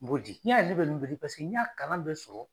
N b'o di n'i y'a ye ne bɛ ninnu bɛɛ bi paseke n y'a kalan bɛɛ sɔrɔ.